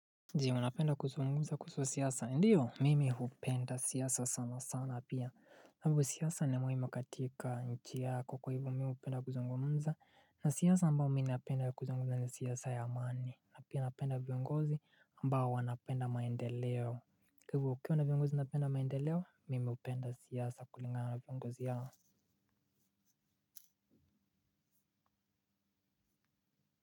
Ndiyo, napenda kuzungumza kuhusu siasa. Ndiyo, mimi hupenda siasa sana sana pia. Sababu siasa ni muhimu katika nchi yako kwa hivyo, mimi hupenda kuzungumza. Na siasa mbayo mimi napenda kuzunguza ni siasa ya amani. Napia napenda viongozi mbao wanapenda maendeleo. Kwa hivyo ukiwa na viongozi napenda maendeleo, mimi hupenda siasa kulingana viongozi hao.